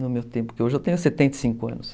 No meu tempo, porque hoje eu tenho setenta e cinco anos.